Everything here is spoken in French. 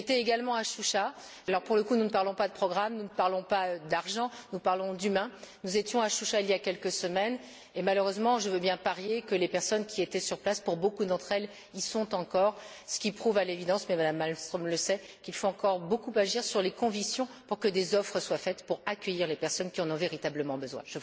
J'étais également à Choucha pour le coup, nous ne parlons pas de programme, nous ne parlons pas d'argent, nous parlons d'êtres humains nous étions à Choucha il y a quelques semaines et malheureusement je veux bien parier que les personnes qui étaient sur place, pour beaucoup d'entre elles, y sont encore, ce qui prouve à l'évidence mais Mme Malmström le sait qu'il faut encore beaucoup agir sur les conditions pour que des offres soient faites pour accueillir les personnes qui en ont véritablement besoin.